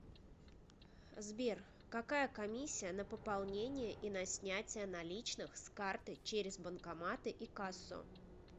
сбер какая комиссия на пополнение и на снятие наличных с карты через банкоматы и кассу